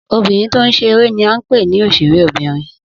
Obìnrin tó ń ṣe eré ní à ń pè ní òṣèré bìnrin